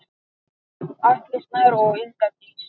Atli Snær og Inga Dís.